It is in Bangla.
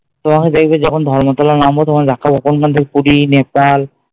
তোমাকে দেখবে যখন ধর্মতলা নামবো তখন দেখাবো কোনখান থেকে পুরী, নেপাল